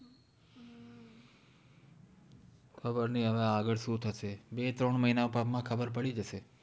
ખબર નહિ હવે આગળ શું થશે બે ત્રણ મહિના માં ખબર પડી જશે